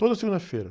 Toda segunda-feira.